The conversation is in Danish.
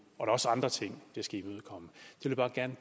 er også andre ting det skal imødekomme